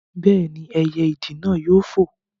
Bẹ́ẹ̀ni, ẹyẹ ìdì náà yóò fò